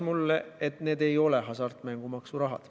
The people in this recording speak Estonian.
Mulle lubati, et see ei ole hasartmängumaksu raha.